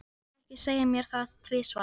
Ég lét ekki segja mér það tvisvar.